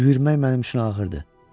Yürümək mənim üçün ağırdır.